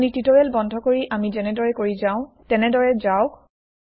আপুনি টিওটেৰিয়েল বন্ধ কৰি আমি যেনেদৰে কৰি যাও তেনেদৰে যাওক